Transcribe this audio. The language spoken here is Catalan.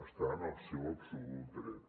està en el seu absolut dret